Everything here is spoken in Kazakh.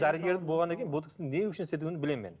дәрігер болғаннан кейін ботекстің не үшін істетуін білемін мен